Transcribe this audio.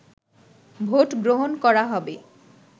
vote গ্রহণ করা হবে